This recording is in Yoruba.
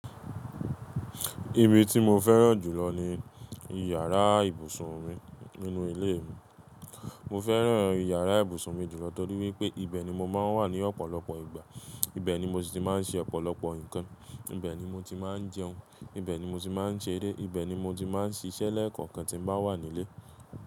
Ibi tí mo fẹ́ràn jùlọ ní ìyàrá ìbùsùn mi nínú ilé mi. Mo fẹ́ràn ìyàrá ìbùsùn mi jùlọ torí wípé ibẹ̀ ni mo máa ń wà ní ọ̀pọ̀lọpọ̀ ìgbà, ibẹ̀ ni mo ti máa ń ṣe ọ̀pọ̀lọpọ̀ ǹkan, ibẹ̀ ni mo ti máa ń jẹun, ibẹ̀ ni mo ti máa ń ṣeré, ibẹ̀ ni mo ti máa ń ṣiṣẹ́ lẹ́ẹ̀kọ̀kan tí mo bá wà nílé.